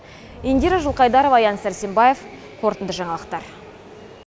индира жылқайдарова аян сәрсенбаев қорытынды жаңалықтар